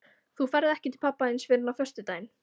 Þú ferð ekki til pabba þíns fyrr en á föstudaginn.